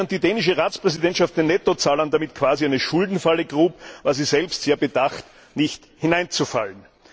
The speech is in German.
Während die dänische Ratspräsidentschaft den Nettozahlern damit quasi eine Schuldenfalle grub, war sie selbst darauf bedacht, nicht hineinzufallen.